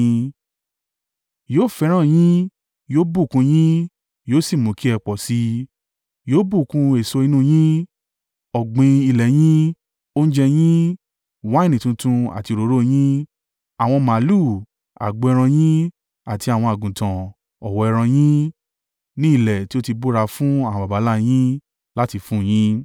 Yóò fẹ́ràn yín, yóò bùkún un yín yóò sì mú kí ẹ pọ̀ sí i. Yóò bùkún èso inú yín, ọ̀gbìn ilẹ̀ yín, oúnjẹ yín, wáìnì tuntun àti òróró yín, àwọn màlúù, agbo ẹran yín, àti àwọn àgùntàn, ọ̀wọ́ ẹran yín, ní ilẹ̀ tí ó ti búra fún àwọn baba ńlá yín láti fún un yín.